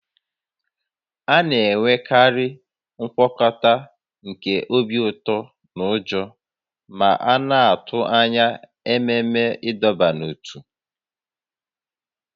A na-enwekarị ngwakọta nke obi ụtọ na ụjọ ma a na-atụ anya ememe ịdọba n'ótú